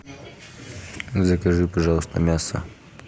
закажи пожалуйста мясо